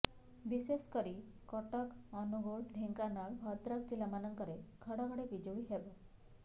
ବିଶେଷକରି କଟକ ଅନୁଗୋଳ ଢେଙ୍କାନାଳ ଭଦ୍ରକ ଜିଲ୍ଲାମାନଙ୍କରେ ଘଡଘଡି ବିଜୁଳି ହେବ